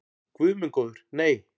Guð minn góður nei.